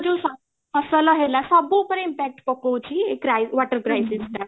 ଆମର ଯୋଉ ଫସଲ ହେଲା ସବୁ ଉପରେ impact ପକୋଉଛି ଏଇ water crisis ଟା